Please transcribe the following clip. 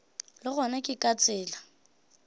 le gona ke ka tsela